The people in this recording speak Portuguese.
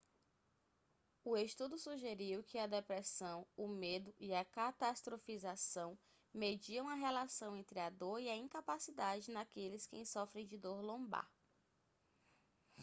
o estudo sugeriu que a depressão o medo e a catastrofização mediam a relação entre a dor e a incapacidade naqueles quem sofrem de dor lombar